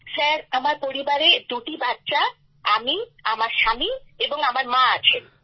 sir আমার পরিবারে দুটি বাচ্চা আমি আমার স্বামী এবং আমার মা আছেন